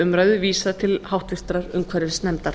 umræðu vísað til háttvirtrar umhverfisnefndar